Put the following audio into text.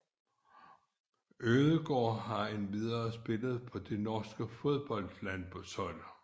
Ødegaard har endvidere spillet på det norske fodboldlandshold